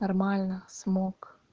нормально смог